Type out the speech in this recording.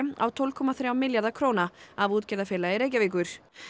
á tólf komma þrjá milljarða króna af útgerðarfélagi Reykjavíkur